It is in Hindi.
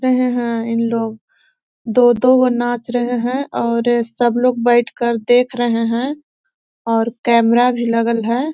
रहे है तीन लोग दो दो वो नाच रहे है और सब लोग बैठकर देख रहे है और कैमरा भी लगल है।